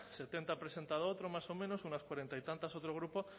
setenta ha presentado otro más o menos unas cuarenta y tantas otro grupo